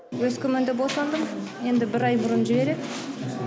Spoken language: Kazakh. өскеменде босандым енді бір ай бұрын жібереді